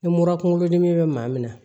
Ni mura kunkolodimi bɛ maa min na